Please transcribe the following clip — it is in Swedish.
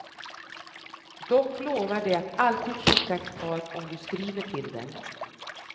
Dock lovar de att alltid skicka ett par om du skriver till dem.